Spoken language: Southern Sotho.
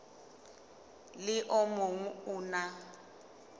le o mong o na